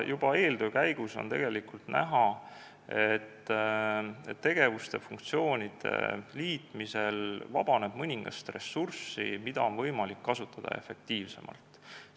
Juba eeltöö käigus oli näha, et tegevuste ja funktsioonide liitmisel vabaneb mõningast ressurssi, mida on võimalik efektiivsemalt kasutada.